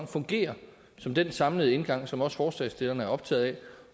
fungerer som den samlede indgang som også forslagsstillerne er optaget af